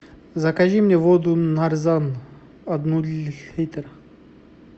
закажи мне воду нарзан одну литр